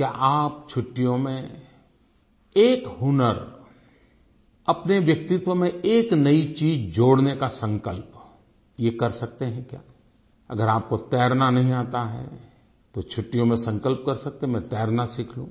क्या आप छुट्टियों में एक हुनर अपने व्यक्तित्व में एक नई चीज़ जोड़ने का संकल्प ये कर सकते हैं क्या अगर आपको तैरना नहीं आता है तो छुट्टियों मे संकल्प कर सकते हैं मैं तैरना सीख लूँ